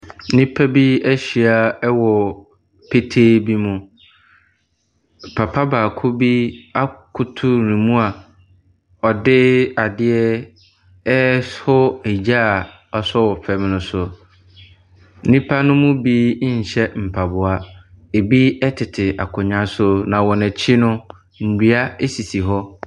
Nnipa bi ɛhyia ɛwɔ petee bi mu. Papa baako bi akoto nemu a ɔde adeɛ ɛrefɔ egya wɔaso wɔ fam no so. Nnipa no mu bi ɛnnhyɛ mpaboa, ebi ɛtete akonwa so. Na wɔn ɛkyi no nnua esi hɔ.